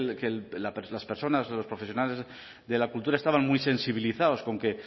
las personas o los profesionales de la cultura estaban muy sensibilizados con que